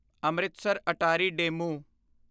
Amritsar Attari DEMU